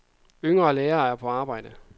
Yngre læger er på arbejde.